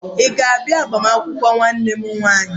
Ị ga-abịa maka agbamakwụkwọ nwanne m nwanyị?